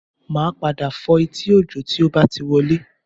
Màá padà fọ́ etí Òjó tó bá ti wọlé